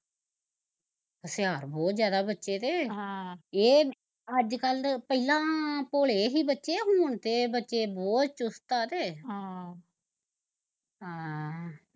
ਹੁਸ਼ਿਆਰ ਬਹੁਤ ਜਿਆਦਾ ਬੱਚੇ ਤੇ ਹਮ ਏਹ, ਅੱਜ ਕੱਲ ਪਹਿਲਾਂ ਭੋਲੇ ਸੀ ਬੱਚੇ ਹੁਣ ਤੇ ਬੱਚੇ ਬਹੁਤ ਚੁਸਤ ਐ ਕਿ ਆਹ ਆ